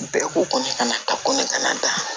Bɛɛ ko ko ne kana taa ko ne kana taa